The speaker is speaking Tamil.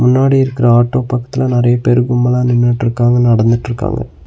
முன்னாடி இருக்குற ஆட்டோ பக்கத்ல நறைய பேரு கும்பல நின்னுட்ருக்காங்க நடந்துட்ருக்காங்க.